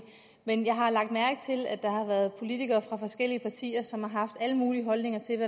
men jeg har lagt mærke til at der har været politikere fra forskellige partier som har haft alle mulige holdninger til